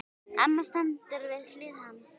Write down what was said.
Amma stendur við hlið hans.